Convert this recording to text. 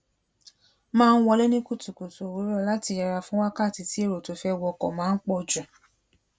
máa ń wọlé ní kùtùkùtù òwúrò lati yera fun wakati ti èrò to fe woko máa ń pò jù